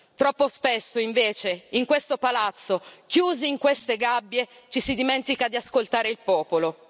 Troppo spesso invece, in questo palazzo, chiusi in queste gabbie, ci si dimentica di ascoltare il popolo.